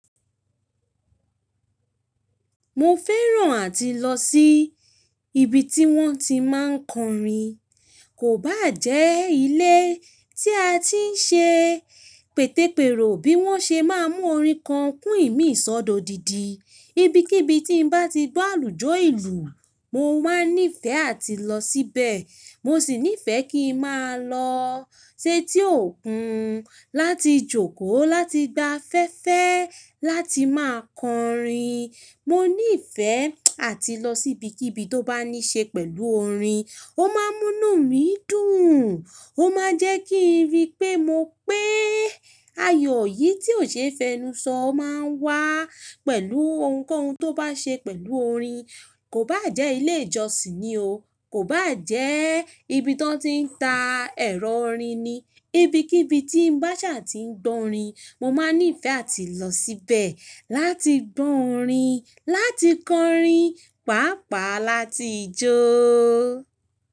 Mo fẹ́ràn àti lọ sí ibi tí wọ́n ti máa ń kọrin. Kò bá jẹ́ ilé tí a ti ń ṣe pètepèrò bí wọ́n ṣe máa mú orin kan kún ìmí sododidi Ibi kí ibi tí n bá ti gbọ́ àlùjọ ìlú, mo máa n nífẹ̀ẹ́ àti lọ síbẹ̀. Mo sì nífẹ̀ẹ́ kí ń máa lọ setí òkun láti jókòó láti gba afẹ́ẹ́fẹ́ láti máa kọrin. Mo nífẹ̀ẹ́ àti lọ sí ibi kí ibi tó bá ní ṣe pẹ̀lú orin. Ó máa ń mú nú mi dùn. Ó máa jẹ́ kí n rí pé mo pé ayọ̀ yìí tí ò ṣe é fẹnu sọ o máa ń wá pẹ̀lú ohunkóhun tó bá ṣe pẹ̀lú orin. Kò bá jẹ́ ilé ìjọsìn ni o. Kò bá jẹ́ ibi tan ti ń ta ẹ̀rọ orin ni. Ibi kí bi tí n bá ṣà ti ń gbọ́ orin, mo máa nífẹ̀ẹ́ àti lọ síbẹ̀ láti gbọ́ orin, láti kọrin, pàápàá láti jó.